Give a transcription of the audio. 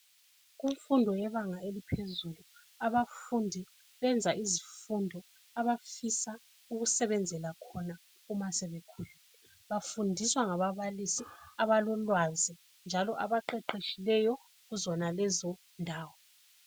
Kumfundo yebanga eliphezulu abafundi benza izifundo abafisa ukusebenzela khona uma sebekhulile bafundiswa ngababalisi abalolwazi njalo abaqeqetshileyo kuzonalezo ndawo.